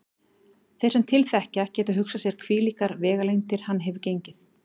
Þeir sem til þekkja geta hugsað sér hvílíkar vegalengdir hann hefur gengið.